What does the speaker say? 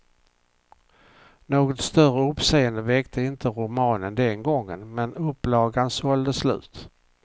Något större uppseende väckte inte romanen den gången, men upplagan sålde slut.